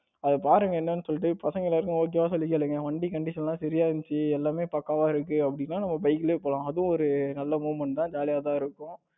அத பாருங்க என்னன்னு சொல்லிட்டு பசங்க எல்லாத்துக்கும் okay வான்னு சொல்லி கேளுங்க வண்டி condition எல்லாம் சரியா இருந்துச்சு எல்லாமே பக்காவா இருக்கு அப்டின்னா நம்ம bike லையே போலாம். அது ஒரு நல்ல movement தான் ஜாலியா தான் இருக்கும்.